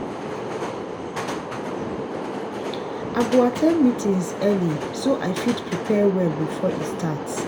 i go at ten d meetings early so i fit prepare well before e start.